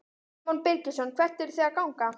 Símon Birgisson: Hvert eruð þið að ganga?